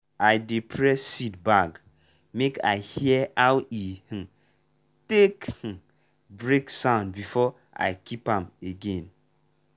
i dey press seed bag make i hear aw e um take um break sound before i keep am again.